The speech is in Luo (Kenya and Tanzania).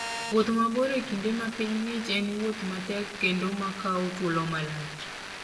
Wuoth mabor e kinde ma piny ng'ich en wuoth matek kendo ma kawo thuolo malach.